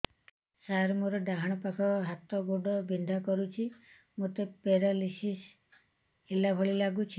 ସାର ମୋର ଡାହାଣ ପାଖ ହାତ ଗୋଡ଼ ବିନ୍ଧା କରୁଛି ମୋତେ ପେରାଲିଶିଶ ହେଲା ଭଳି ଲାଗୁଛି